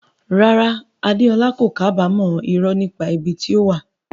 Rárá, Adeola kò kábàámọ̀ irọ́ nípa ibi tí ó wà.